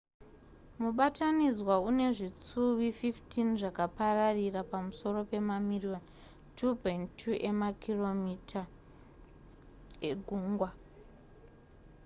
mubatanidzwa une zvitsuwi 15 zvakapararira pamusoro pemamiriyoni 2.2 emakm2 egungwa